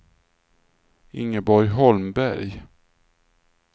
Ingeborg Holmberg